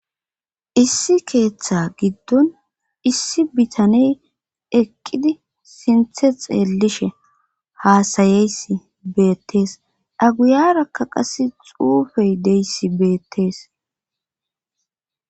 issi keeththa giddon issi bitaney eqqidi sinthe xeellishe haasayeyss beettees dhaguyarakka qase xuufey deyssi beettees